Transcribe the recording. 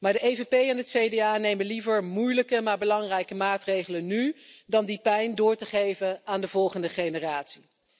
Maar de EVP en het CDA nemen liever moeilijke maar belangrijke maatregelen nu, dan die pijn door te geven aan de volgende generatie.